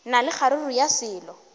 na le kgaruru ya selo